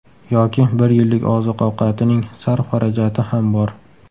Yoki bir yillik oziq-ovqatining sarf-xarajati ham bor.